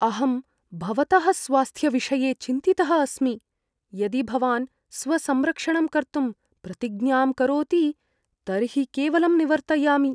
अहं भवतः स्वास्थ्यविषये चिन्तितः अस्मि, यदि भवान् स्वसंरक्षणं कर्तुम् प्रतिज्ञां करोति तर्हि केवलं निवर्तयामि।